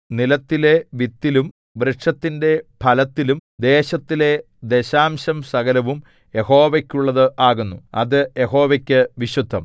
നിലത്തിലെ വിത്തിലും വൃക്ഷത്തിന്റെ ഫലത്തിലും ദേശത്തിലെ ദശാംശം സകലവും യഹോവയ്ക്കുള്ളത് ആകുന്നു അത് യഹോവയ്ക്കു വിശുദ്ധം